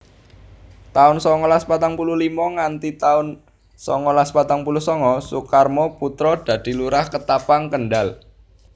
taun songolas patang puluh limo nganthi taun songolas patang puluh sanga Sukarmo Putra dadi Lurah Ketapang Kendal